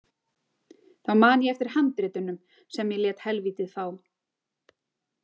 Þá man ég eftir handritunum sem ég lét helvítið fá.